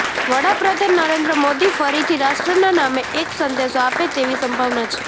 વડાપ્રધાન નરેન્દ્ર મોદી ફરીથી રાષ્ટ્રના નામે એક સંદેશો આપે તેવી સંભાવના છે